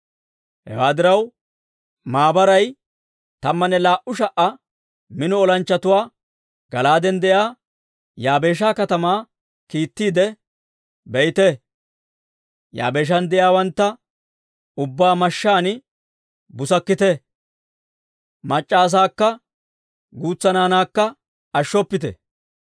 Hewaa diraw, maabaray tammanne laa"u sha"a mino olanchchatuwaa Gala'aaden de'iyaa Yaabeesha katamaa kiittiidde, «Biite; Yaabeeshan de'iyaawantta ubbaa mashshaan busakkite; mac'c'a asaakka guutsa naanaakka ashshoppite.